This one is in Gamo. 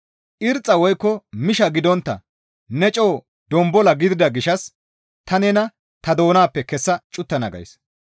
Irxxa woykko misha gidontta ne coo donbola gidida gishshas ta nena ta doonappe kessa cuttana gays.